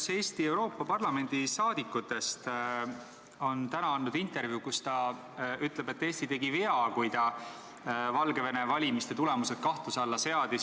Üks Eesti saadikutest Euroopa Parlamendis on täna andnud intervjuu, kus ta ütleb, et Eesti tegi vea, kui ta Valgevene valimiste tulemused kahtluse alla seadis.